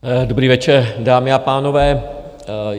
Dobrý večer, dámy a pánové.